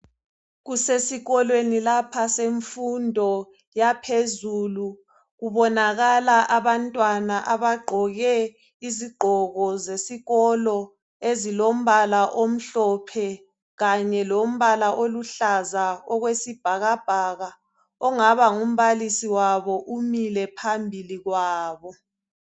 Kusesikolweni lapha, semfundo yaphezulu, kubonakala abantwana abagqoke izigqoko zesikolo ezilomba omhlophe kanye lombala oluhlaza okwesibhakabhaka. Ongaba ngumbalisi wabo umile phambili kwabo.